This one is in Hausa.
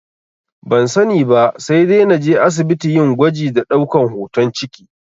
Ban sani ba, sai dai naje asibiti yin gwaji da ɗaukan hoton ciki